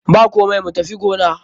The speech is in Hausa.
Bakomai, mu tafi gona.